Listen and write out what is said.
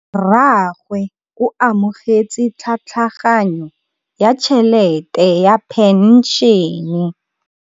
Rragwe o amogetse tlhatlhaganyô ya tšhelête ya phenšene.